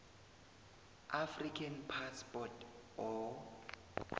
african passport or